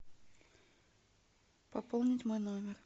пополнить мой номер